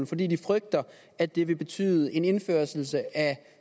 fordi de frygter at det vil betyde en indførelse af